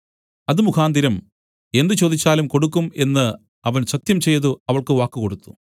അതുമുഖാന്തരം എന്ത് ചോദിച്ചാലും കൊടുക്കും എന്നു അവൻ സത്യംചെയ്തു അവൾക്ക് വാക്ക് കൊടുത്തു